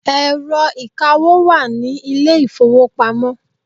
Ẹ̀rọ ìkawó wà ní ilé ìfowópamọ́.